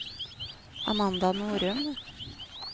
Amanda Norum